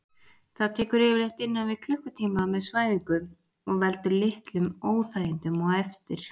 Það tekur yfirleitt innan við klukkutíma með svæfingu og veldur litlum óþægindum á eftir.